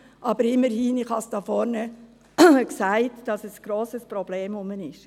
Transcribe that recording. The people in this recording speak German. Aber immerhin habe ich hier vorne gesagt, dass ein grosses Problem besteht.